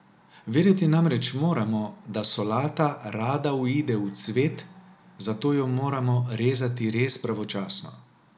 Vedeti namreč moramo, da solata rada uide v cvet, zato jo moramo rezati res pravočasno.